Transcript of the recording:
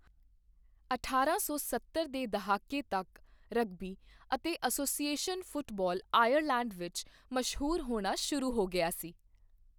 ਅਠਾਰਾਂ ਸੌ ਸੱਤਰ ਦੇ ਦਹਾਕੇ ਤੱਕ ਰਗਬੀ ਅਤੇ ਐਸੋਸੀਏਸ਼ਨ ਫੁੱਟਬਾਲ ਆਇਰਲੈਂਡ ਵਿੱਚ ਮਸ਼ਹੂਰ ਹੋਣਾ ਸ਼ੁਰੂ ਹੋ ਗਿਆ ਸੀ।